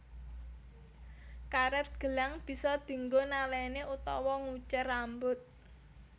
Karet gelang bisa dinggo naleni utawa nguncir rambut